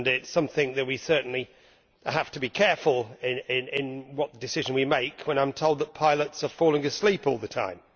This is something where we certainly have to be careful as to what decision we make when I am told that pilots are falling asleep all the time.